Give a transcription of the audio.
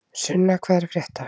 Sunna, hvað er að frétta?